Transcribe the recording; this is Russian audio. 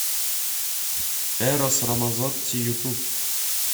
эрос рамазотти ютуб